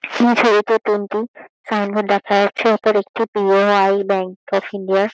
এই ছবিতে তিনিটি সাইন বোর্ড দেখা যাচ্ছে। ওপর একটি বি.ও.আই ব্যাঙ্ক অফ ইন্ডিয়া |